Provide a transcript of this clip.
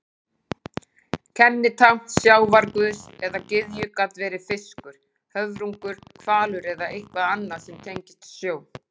Kennitákn sjávarguðs eða gyðju gat verið fiskur, höfrungur, hvalur eða eitthvað annað sem tengist sjó.